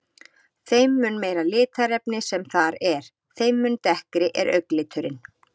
Þeim mun meira litarefni sem þar er, þeim mun dekkri er augnliturinn.